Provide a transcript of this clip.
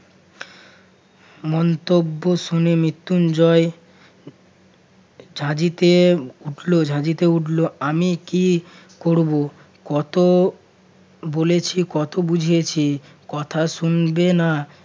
মন্তব্য শুনে মৃত্যুঞ্জয় ঝাঁঝিতে উঠল ঝাঁঝিতে উঠল। আমি কি করবো কত বলেছি কত বুঝিয়েছি কথা শুনবে না।